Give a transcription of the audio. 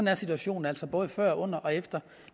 er situationen altså både før under og efter